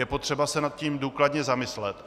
Je potřeba se nad tím důkladně zamyslet.